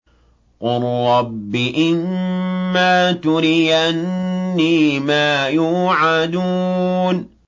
قُل رَّبِّ إِمَّا تُرِيَنِّي مَا يُوعَدُونَ